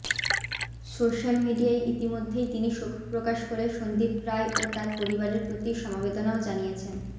social মিডিয়ায় ইতোমধ্যেই তিনি শোকপ্রকাশ করে সন্দীপ রায় ও তাঁর পরিবারের প্রতি সমবেদনাও জানিয়েছেন